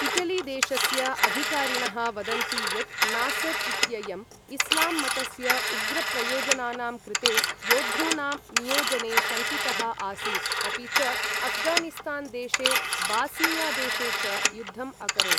Italy देशस्य अधिकारिणः वदन्ति यत् नासर् इत्ययम् इस्लाम् मतस्य उग्रप्रयोजनानां कृते योद्धॄणां नियोजने शङ्कितः आसीत्, अपि च अफ्गानिस्तान् देशे बास्निया देशे च युद्धम् अकरोत्।